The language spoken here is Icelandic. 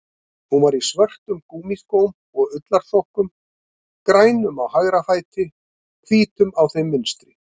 Hún var í svörtum gúmmískóm og ullarsokkum, grænum á hægri fæti, hvítum á þeim vinstri.